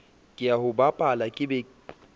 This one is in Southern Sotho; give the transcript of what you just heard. ke o bapala ke be